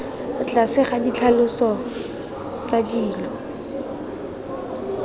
tlase ga ditlhaloso tsa dilo